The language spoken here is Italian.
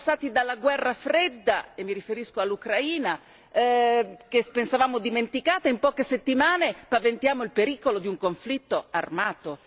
Siamo passati dalla Guerra fredda e mi riferisco all'Ucraina che pensavamo dimenticata e, in poche settimane, paventiamo il pericolo di un conflitto armato.